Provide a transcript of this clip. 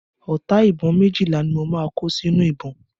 Ọta ìbọn méjìlá ni mo máa kó sínú ìbọn.